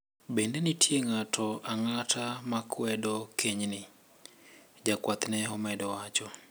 "Bende nitie ng`ato ang`ata makwedo kenyni, jakwath ne omedo wacho.